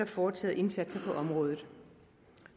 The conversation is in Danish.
foretaget indsatser på området